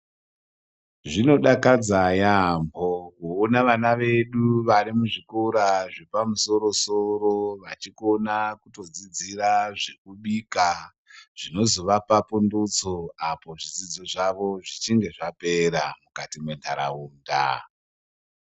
Zvinodakadza yaampho kuona vana vedu vari muzvikora zvepamusoro soro vachikona kutodzidzira zvekubika zvinozovapa pundutso apo zvidzidzo zvavo zvichinge zvapera mukati mwentaraunda.